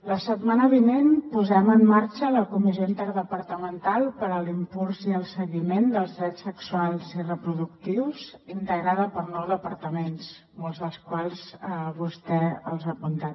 la setmana vinent posem en marxa la comissió interdepartamental per a l’impuls i el seguiment dels drets sexuals i reproductius integrada per nou departaments molts dels quals vostè els ha apuntat